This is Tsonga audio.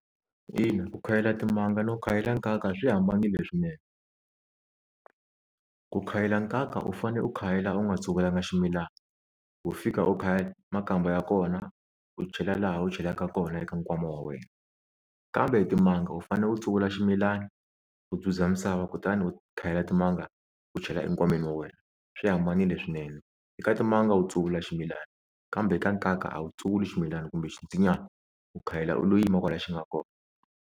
Ina ku khayela timanga no khayela nkaka swi hambanile swinene, ku khayela nkaka u fane u khayela u nga tsuvulanga ximilana, ho fika u khayela makamba ya kona u chela laha u chelakaka kona eka nkwama wa wena, kambe timanga u fane u tsuvula ximilani u dzuzda misava kutani u khayela timanga u chela enkwameni wa wena swi hambanile swinene, eka timanga u tsavula ximilani kambe ka nkaka a wu tsuvuli ximilani kumbe xinsinyani u khayela u lo yima kwala xi nga kona.